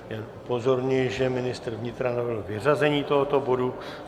Jen upozorňuji, že ministr vnitra navrhl vyřazení tohoto bodu.